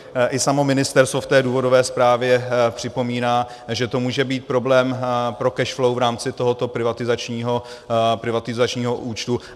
I samo ministerstvo v důvodové zprávě připomíná, že to může být problém pro cash flow v rámci tohoto privatizačního účtu.